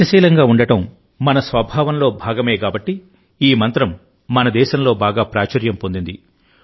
గతిశీలంగా ఉండడం మన స్వభావంలో భాగమే కాబట్టి ఈ మంత్రం మన దేశంలో బాగా ప్రాచుర్యం పొందింది